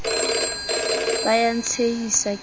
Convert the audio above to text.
ba ya ntshehisa ke le